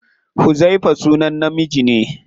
Huzaifa sunan namiji ne.